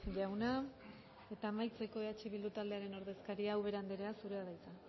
jauna eta amaitzeko eh bildu taldearen ordezkaria ubera anderea zurea da hitza